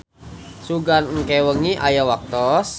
Sugan engke wengi aya waktos.